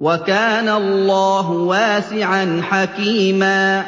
وَكَانَ اللَّهُ وَاسِعًا حَكِيمًا